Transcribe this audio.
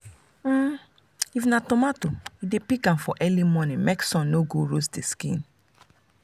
um if na tomato e dey pick am for early morning make sun no go roast the skin.